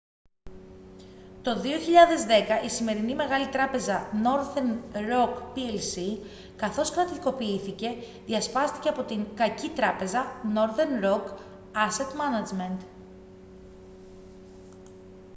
το 2010 η σημερινή μεγάλη τράπεζα northern roc plc καθώς κρατικοποιήθηκε διασπάστηκε από την «κακή τράπεζα» northern roc asset management